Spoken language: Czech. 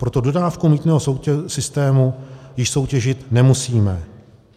Proto dodávku mýtného systému již soutěžit nemusíme.